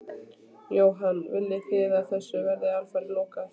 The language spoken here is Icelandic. Jóhann: Viljið þið að þessu verði alfarið lokað?